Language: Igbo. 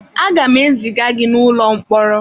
Aga m eziga gị n'ụlọ mkpọrọ.